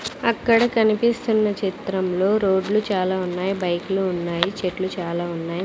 అక్కడ కనిపిస్తున్న చిత్రంలో రోడ్లు చాలా ఉన్నాయి బైక్లు ఉన్నాయి చెట్లు చాలా ఉన్నాయి.